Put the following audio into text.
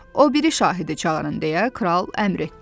O biri şahidi çağırın, deyə Kral əmr etdi.